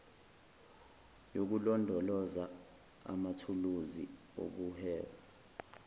yokulondoloza amathuluzi okuhweba